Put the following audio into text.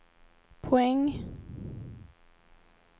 poäng